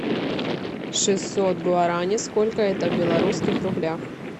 шестьсот гуарани сколько это в белорусских рублях